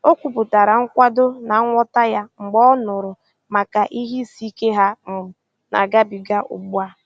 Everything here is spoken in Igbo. O kwupụtara nkwado na nghọta ya mgbe ọ nụrụ maka ihe isiike ha um na-agabiga ugbu a